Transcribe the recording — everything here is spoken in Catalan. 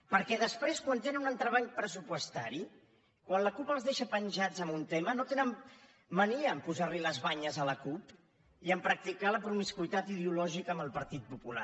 perquè després quan tenen un entrebanc pressupostari quan la cup els deixa penjats en un tema no tenen mania a posar les banyes a la cup i a practicar la promiscuïtat ideològica amb el partit popular